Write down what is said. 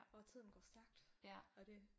Og tiden går stærkt og det